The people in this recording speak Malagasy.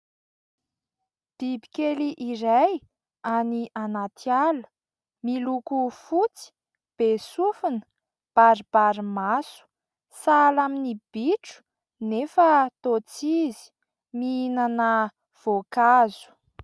Biby kely iray any anaty ala, miloko fotsy, be sofina, baribary maso. Sahala amin'ny bitro nefa toa tsy izy. Mihinana voankazo.